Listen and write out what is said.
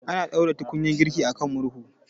Ana ɗaura tukunyar girki akan murhu